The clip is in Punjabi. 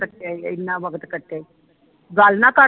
ਇਨਾ ਵਕਤ ਕਟਿਆ ਈ ਗੱਲ ਨਾ ਕਰ